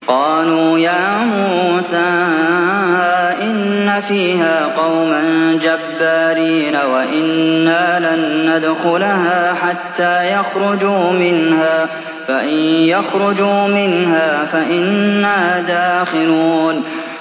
قَالُوا يَا مُوسَىٰ إِنَّ فِيهَا قَوْمًا جَبَّارِينَ وَإِنَّا لَن نَّدْخُلَهَا حَتَّىٰ يَخْرُجُوا مِنْهَا فَإِن يَخْرُجُوا مِنْهَا فَإِنَّا دَاخِلُونَ